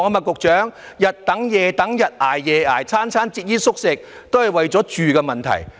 局長，他們日等夜等、日捱夜捱、每餐節衣縮食，都是為了住的問題。